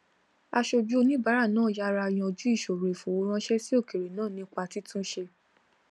aṣojú oníbàárà náà yára yanjú ìṣòro ìfowóránṣẹ sí òkèèrè náà nípa títun ṣe